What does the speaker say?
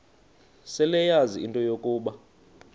seleyazi into yokuba